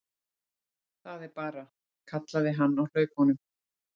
Það er bara, kallaði hann á hlaupunum.